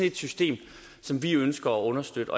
et system som vi ønsker at understøtte